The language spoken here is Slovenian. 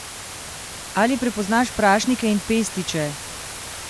Ali prepoznaš prašnike in pestiče?